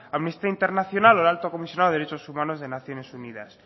amnistía internacional o el alto comisionado de derecho humanos de naciones unidas